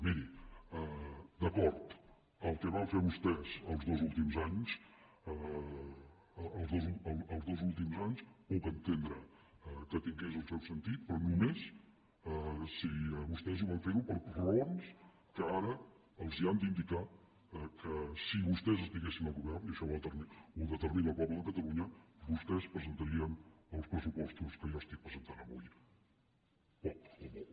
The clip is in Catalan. miri d’acord el que van fer vostès els dos últims anys els dos últims anys puc entendre que tingués el seu sentit però només si vostès ho van fer per raons que ara els han d’indicar que si vostès estiguessin al govern i això ho determina el poble de catalunya vostès presentarien els pressupostos que jo estic presentant avui poc o molt